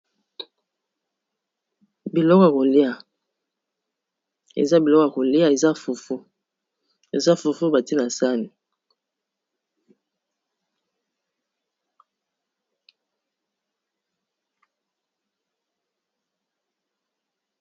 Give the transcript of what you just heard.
But ya kolia, eza biloko ya kolia eza fufu batie na sani.